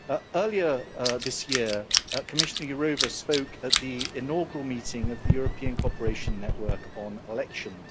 Earlier this year, Commissioner Jourová spoke at the inaugural meeting of the European cooperation network on elections.